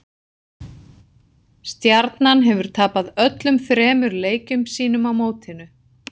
Stjarnan hefur tapað öllum þremur leikjum sínum á mótinu.